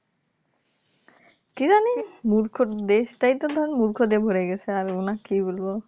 মূর্খের দেশ তাই তো ধরেন মূর্খ তে ভরে গেছে . কি বলবো